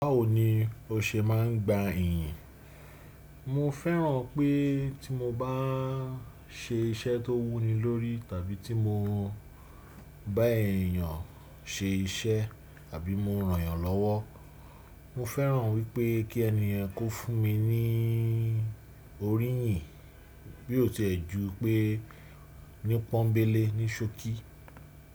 Báwo ni o ṣe máa ń gba ìyìn? Mo fẹ́ràn pé tí mo bá ń ṣe iṣẹ́ tó wúni lórí tàbí tí mo bá èèyàn ṣe iṣẹ́ àbí mo ran èèyàn lọ́wọ́. Mo fẹ́ràn wípé kí ènìyàn kó fún mi ní orí ìyìn bí ó tẹ́ ju pé ní pọ́nńbélé ní ṣokí.